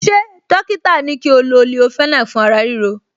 Ṣé dọ́kítà ní kí o lo leofenac fún ara ríro